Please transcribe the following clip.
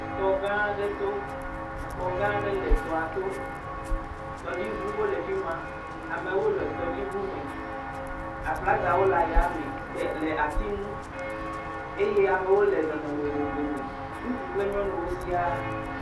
Tɔ gã aɖe to, xɔ gã aɖe le tɔa to. Tɔdziŋuwo le afi ma, amewo le tɔdziŋu me. Aflagawo le yame le ati ŋu eye amewo le nɔnɔme vovovo me. Ŋutsu kple nyɔnuwo sia.